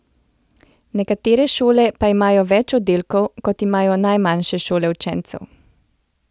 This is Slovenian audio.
Nekatere šole pa imajo več oddelkov, kot imajo najmanjše šole učencev.